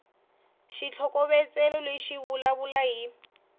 xitlhokovetselo lexi xi vulavula hi